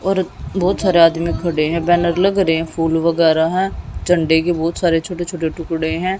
और बहोत सारे आदमी खडे है बैनर लग रहे है फूल वगैरा है झंडे के बहोत सारे छोटे छोटे टुकड़े है।